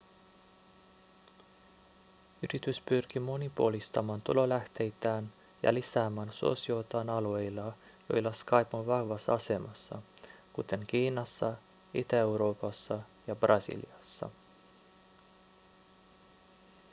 yritys pyrkii monipuolistamaan tulolähteitään ja lisäämään suosiotaan alueilla joilla skype on vahvassa asemassa kuten kiinassa itä-euroopassa ja brasiliassa